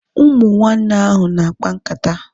Ụmụ nwanne ahu na-akpa nkata